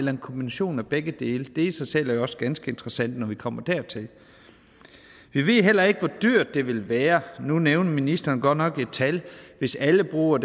er en kombination af begge dele det i sig selv er jo også ganske interessant når vi kommer dertil vi ved heller ikke hvor dyrt det vil være nu nævnte ministeren godt nok et tal hvis alle bruger